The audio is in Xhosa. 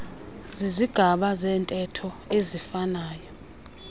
zizigaba zentetho eziifanayo